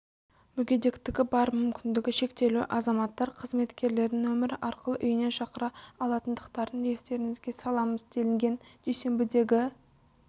мүгедектігі бар мүмкіндігі шектеулі азаматтар қызметкерлерін нөмірі арқылы үйіне шақыра алатындықтарын естеріңізге саламыз делінген дүйсенбідегі